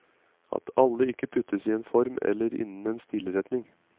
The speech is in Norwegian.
At alle ikke puttes i en form eller innen en stilretning.